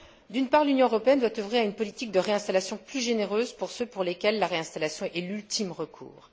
D'une part, l'Union européenne doit œuvrer à une politique de réinstallation plus généreuse pour ceux pour lesquels la réinstallation est l'ultime recours.